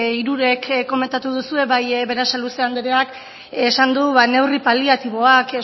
hirurek komentatu duzue bai berasaluze andereak esan du neurri paliatiboak